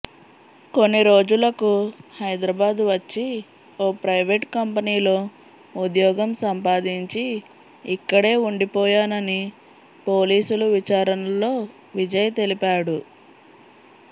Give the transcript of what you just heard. కొన్నిరోజులకు హైదరాబాద్ వచ్చి ఓ ప్రైవేట్ కంపెనీలో ఉద్యోగం సంపాదించి ఇక్కడే వుండిపోయానని పోలీసులు విచారణలో విజయ్ తెలిపాడు